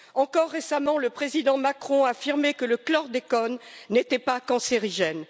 Encore récemment, le président Macron affirmait que le chlordécone n'était pas cancérigène.